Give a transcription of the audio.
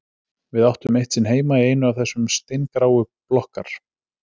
Við áttum eitt sinn heima í einu af þessum steingráu blokkar